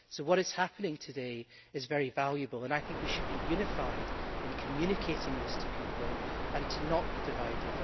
What is happening today is very valuable, and I think we should be unified in communicating this to people and not be divided.